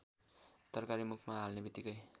तरकारी मुखमा हाल्नेबित्तिकै